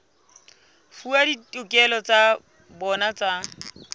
fuwa ditokelo tsa bona tsa